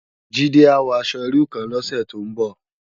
Jide á wò aṣò irú kán lòsè tó n bò